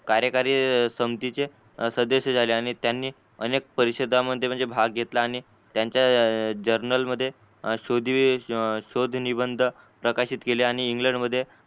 कार्यकारी संमतीचे सदशी झाले आणि त्यांनी अनेक परिषदा मध्ये म्हणजे भाग घेतला आणि त्यांच्या journal शोध निबंध प्रक्षित केले आणि इंग्लंड मध्ये